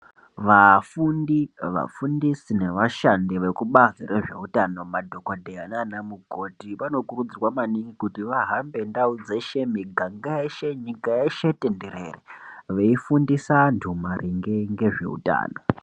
Vafundi, vafundisi nevashandi vekubazi rezvehutano madhokodheya naana mukoti ,vanokurudzirwa maningi kuti vahambe ndau dzeshe, miganga yeshe, nyika yeshe tenderere ,veifundisa antu maringe ngezveutano.